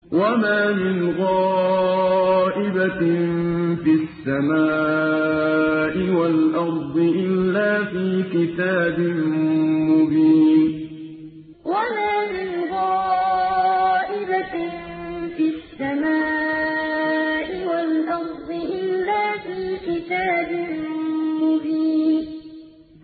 وَمَا مِنْ غَائِبَةٍ فِي السَّمَاءِ وَالْأَرْضِ إِلَّا فِي كِتَابٍ مُّبِينٍ وَمَا مِنْ غَائِبَةٍ فِي السَّمَاءِ وَالْأَرْضِ إِلَّا فِي كِتَابٍ مُّبِينٍ